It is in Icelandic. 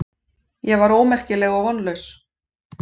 Ég var ómerkileg og vonlaus.